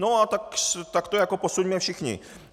No a tak to jako posuňme všichni.